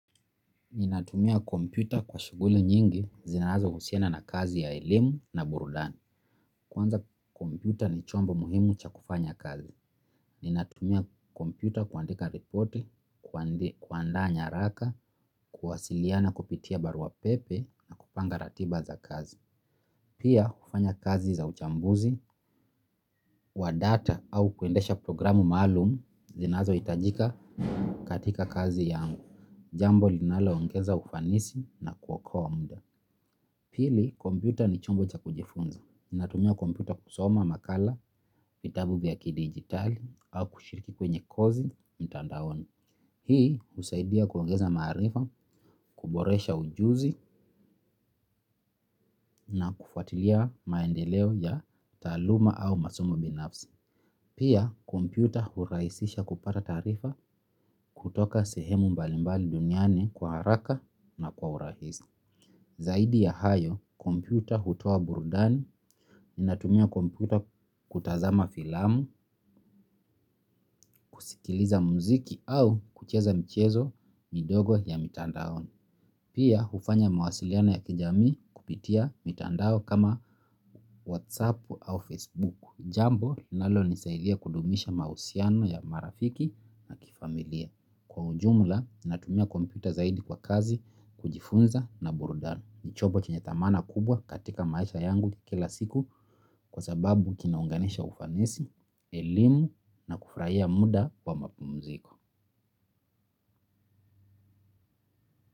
Ninatumia kompyuta kwa shuguli nyingi, zinazo usiana na kazi ya elimu na burudani. Kwanza kompyuta ni chombo muhimu cha kufanya kazi. Ninatumia kompyuta kuandika reporti, kuandaa nyaraka, kuwasiliana kupitia barua pepe na kupanga ratiba za kazi. Pia, kufanya kazi za uchambuzi, wa data au kuendesha programu malumu, zinazo itajika katika kazi yangu. Jambo linalo ongenza ufanisi na kuwokoa mda. Pili, kompyuta ni chombo cha kujifunza. Ninatumia kompyuta kusoma makala, vitabu vya ki-digitali au kushiriki kwenye kozi mtandaoni. Hii usaidia kuongeza marifa, kuboresha ujuzi na kufatilia maendeleo ya taluma au masomo binafsi. Pia, kompyuta huraisisha kupata tarifa kutoka sehemu mbalimbali duniaie kwa haraka na kwa hurahisi. Zaidi ya hayo, kompyuta hutoa burudani, ni natumia komputa kutazama filamu, kusikiliza muziki au kucheza mchezo midogo ya mitandaoni. Pia, ufanya mawasiliano ya kijami kupitia mitandao kama Whatsappu au Facebooku. Jambo, nalo nisailia kudumisha mausiano ya marafiki na kifamilia. Kwa ujumla, ni natumia kompyuta zaidi kwa kazi kujifunza na burudani. Nichobo chenye tamana kubwa katika maisha yangu kila siku kwa sababu kinaunganisha ufanisi, elimu na kufraia muda wa mapu mziko.